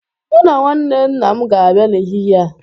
Mu na nwanne nna m ga-abia n'ehihie a